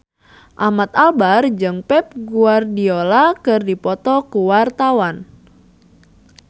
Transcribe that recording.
Ahmad Albar jeung Pep Guardiola keur dipoto ku wartawan